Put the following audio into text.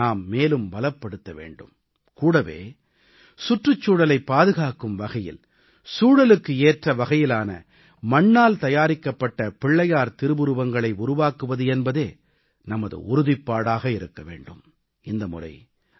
இந்த உணர்வை நாம் மேலும் பலப்படுத்த வேண்டும் கூடவே சுற்றுச்சூழலைப் பாதுகாக்கும் வகையில் சூழலுக்கு ஏற்ற வகையிலான மண்ணால் தயாரிக்கப்பட்ட பிள்ளையார் திருவுருவங்களை உருவாக்குவது என்பதே நமது உறுதிப்பாடாக இருக்க வேண்டும்